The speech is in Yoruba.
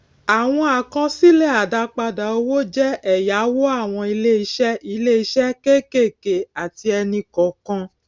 àwọn àkọsílè àdápadà owó jé èyáwó àwọn iléiṣé iléiṣé kékèké àti ẹnì kòòkan